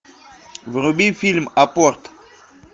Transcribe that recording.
вруби фильм аппорт